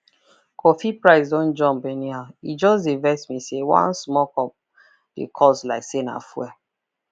coffee price don jump anyhow e just dey vex me say one small cup dey cost like say na fuel